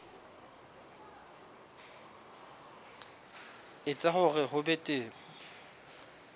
etsa hore ho be teng